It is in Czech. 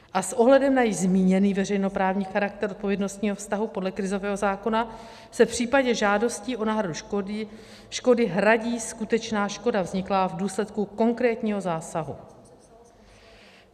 A s ohledem na již zmíněný veřejnoprávní charakter odpovědnostního vztahu podle krizového zákona se v případě žádosti o náhradu škody hradí skutečná škoda vzniklá v důsledku konkrétního zásahu.